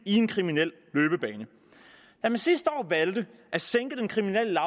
en kriminel løbebane da man sidste år valgte at sænke den kriminelle